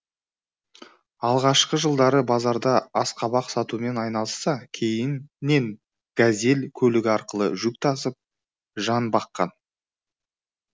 алғашқы жылдары базарда асқабақ сатумен айналысса кейіннен газель көлігі арқылы жүк тасып жан баққан